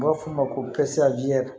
N b'a f'o ma ko